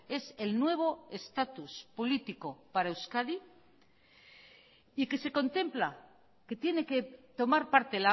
es el nuevo estatus político para euskadi y que se contempla que tiene que tomar parte